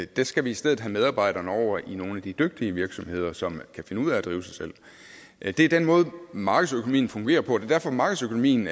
der skal vi i stedet have medarbejderne over i nogle af de dygtige virksomheder som kan finde ud af at drive sig selv det er den måde markedsøkonomien fungerer på er derfor markedsøkonomien